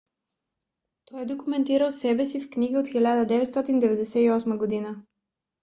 той е документирал себе си в книга от 1998 г